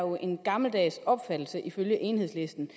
en gammeldags opfattelse ifølge enhedslisten